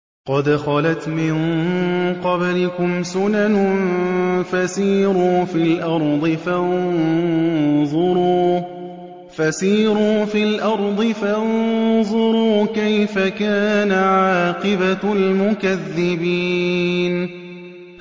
قَدْ خَلَتْ مِن قَبْلِكُمْ سُنَنٌ فَسِيرُوا فِي الْأَرْضِ فَانظُرُوا كَيْفَ كَانَ عَاقِبَةُ الْمُكَذِّبِينَ